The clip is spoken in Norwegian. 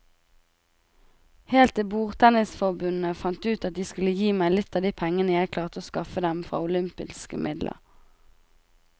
Helt til bordtennisforbundet fant ut at de skulle gi meg litt av de pengene jeg klarte å skaffe dem fra olympiske midler.